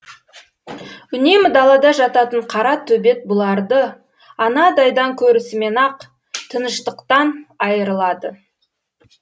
үнемі далада жататын қара төбет бұларды анадайдан көрісімен ақ тыныштықтан айырылады